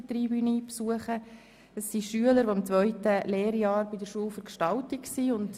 Es sind Lernende, die das zweite Ausbildungsjahr an der Schule für Gestaltung besuchen.